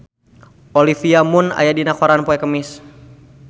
Olivia Munn aya dina koran poe Kemis